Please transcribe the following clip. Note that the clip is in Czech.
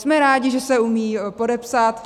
Jsme rádi, že se umí podepsat.